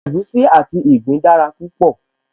Egusi àti ìgbín dára púpọ̀